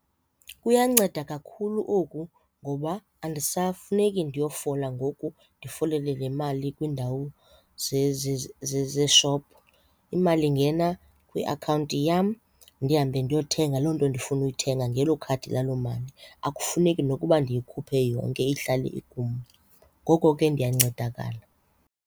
Kuyanceda kakhulu oku ngoba andisafuneki ndiyofola ngoku ndifole le mali kwiindawo zeeshophu. Imali ingena kwiakhawunti yam ndihambe ndiyothenga loo nto ndifuna uyithenga ngelo khadi lalo mali akufuneki nokuba ndiyikhuphe yonke ihlale ikum. Ngoko ke ndiyancedakala.